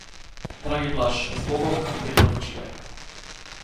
Dragi Blaž, zbogom in mirno počivaj.